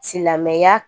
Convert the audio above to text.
Silamɛya